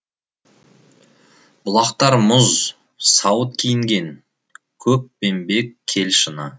бұлақтар мұз сауыт киінген көкпеңбек кел шыны